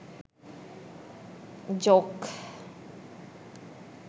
joke